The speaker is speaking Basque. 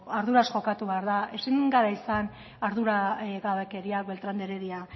arduraz jokatu behar da ezin da izan arduragabekeria beltrán de heredia